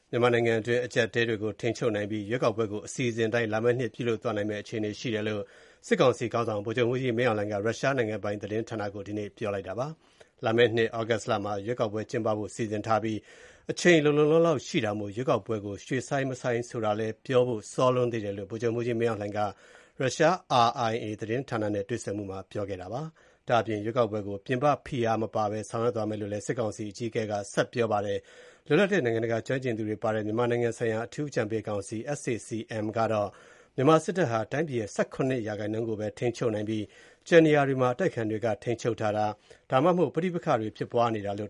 မြန်မာနိုင်ငံတွင်း အကျပ်အတည်းတွေကို ထိန်းချုပ်နိုင်ပြီး ရွေးကောက်ပွဲကို အစီအစဉ်အတိုင်း လာမယ့်နှစ် ပြုလုပ်သွားနိုင်မယ့် အခြေအနေရှိတယ်လို့ မြန်မာစစ်ကောင်စီခေါင်းဆောင်က ရုရှားသတင်းဌာနနဲ့ မေးမြန်းခန်းမှာ ပြောဆိုပါတယ်။ လာမယ့်နှစ် ဩဂုတ်လမှာ ရွေးကောက်ပွဲ ကျင်းပဖို့ စီစဉ်ထားပြီး အချိန်လုံလုံလောက်လောက်ရှိတာမို့ ရွေးကောက်ပွဲကို ရွှေ့ဆိုင်းမဆိုင်း ဆိုတာတော့ ပြောဖို့ စောလွန်းသေးတယ်လို့ မြန်မာစစ်ခေါင်းဆောင် ဗိုလ်ချုပ်မှူးကြီးမင်းအောင်လှိုင်က ရုရှားပိုင် RIA သတင်းဌာနနဲ့ တွေ့ဆုံမှုမှာ ပြောပါတယ်။ ရွေးကောက်ပွဲတွေကို ပြင်ပဖိအားမပါဘဲ ဆောင်ရွက်သွားမယ်လို့လည်း စစ်ကောင်စီအကြီးအကဲက ပြောပါတယ်။ လွတ်လပ်တဲ့နိုင်ငံတကာကျွမ်းကျင်သူတွေပါဝင်တဲ့ မြန်မာနိုင်ငံဆိုင်ရာအထူးအကြံပေးကောင်စီ SAC ရဲ့ တနင်္လာနေ့ အစီရင်ခံတစောင်မှာတော့ မြန်မာစစ်တပ် ဟာ တိုင်းပြည်ရဲ့ ၁၇ ရာခိုင်နှုန်းကိုပဲ ထိန်းချုပ်နိုင်ပြီး ကျန်နေရာတွေမှာ အတိုက် အခံတွေက ထိန်းချုပ်ထားတာ ဒါမှမဟုတ် ပဋိပက္ခတွေဖြစ်ပွားနေတယ်လို့